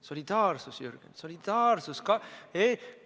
Solidaarsus, Jürgen, solidaarsus!